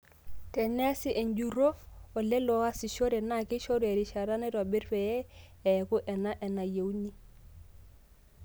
Teneasi enjurrro ooleleo oasishore na keishoru erishata naitobirri peye eaku enaa enayeuni.